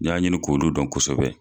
N y'a ɲini k'olu dɔn kosɛbɛ.